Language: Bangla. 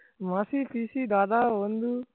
মাসি পিসি দাদা বন্ধু